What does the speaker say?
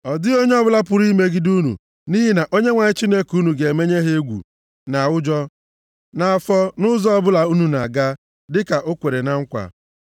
Ọ dịghị onye ọbụla pụrụ imegide unu nʼihi na Onyenwe anyị Chineke unu ga-emenye ha egwu na ụjọ nʼafọ nʼụzọ ọbụla unu na-aga, dịka o kwere na nkwa.